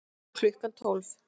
Klukkan tólf